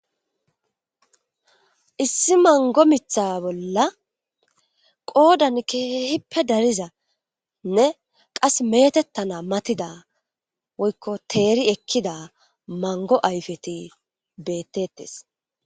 Issi mango miththa bolla qoodan keehippe darizane qasse meetetanas matidawoyko teeri ekkida mango ayfeti beetetees.